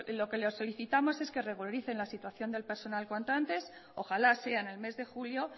lo que le solicitamos es que se regularice la situación del personal cuanto antes ojalá sea en el mes de julio